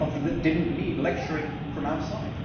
This is something that did not need lecturing from outside.